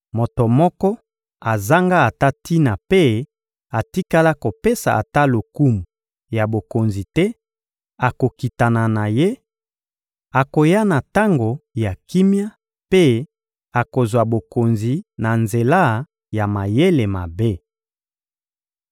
Moto moko azanga ata tina mpe batikala kopesa ata lokumu ya bokonzi te akokitana na ye; akoya na tango ya kimia mpe akozwa bokonzi na nzela ya mayele mabe.